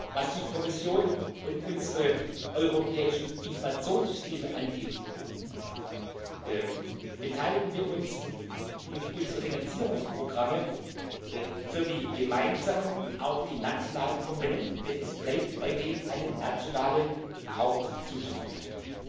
Was die Kommission und unsere europäischen Informationssysteme angeht, beteiligen wir uns durch unsere Finanzierungsprogramme für die gemeinsamen und auch die nationalen Komponenten, denn es bleibt weiterhin eine nationale Hauptzuständigkeit.